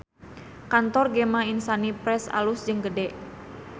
Kantor Gema Insani Press alus jeung gede